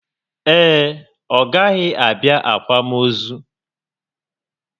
Ee, ọ gaghị abịa akwamozu